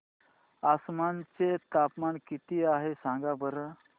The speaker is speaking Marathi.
आसाम चे तापमान किती आहे सांगा बरं